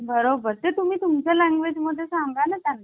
बरोबर ते तुम्ही तुमचा language मध्ये सागा ना ना